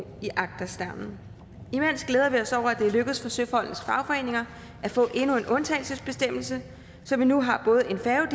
i agterstavnen imens glæder vi os over at det er lykkedes for søfolkenes fagforeninger at få endnu en undtagelsesbestemmelse så vi nu har både en færge